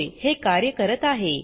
होय हे कार्य करत आहे